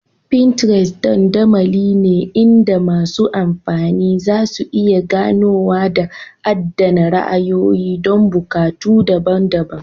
Pinterest dandamali ne inda masu amfani zasu iya ganowa da adana ra'ayoyi don buƙatu daban-daban.